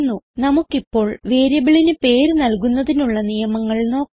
നമുക്കിപ്പോൾ വേരിയബിളിന് പേര് നൽകുന്നതിനുള്ള നിയമങ്ങൾ നോക്കാം